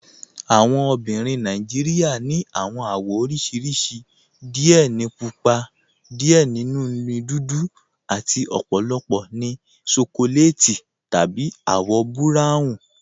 Awọn obìnrin Nàìjíríà ni awọn awọ̀ oríṣiríṣì, díẹ̀ nínú púpà, díẹ̀ nínú dúdú, àti ọ̀pọ̀lọpọ̀ ní ṣókòlètì tàbí awọ̀ buráwùn